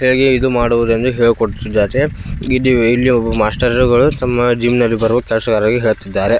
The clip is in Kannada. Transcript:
ಹೇಗೆ ಇದು ಮಾಡುವುದೆಂದು ಹೇಳಿಕೊಡುತ್ತಿದ್ದಾರೆ ಇದು ಇಲ್ಲಿ ಮಾಸ್ಟರ್ ಗಳು ಜಿಮ್ ನಲ್ಲಿ ಬರುವ ಕೆಲಸಗಾರರಿಗೆ ಹೇಳ್ತಿದ್ದಾರೆ.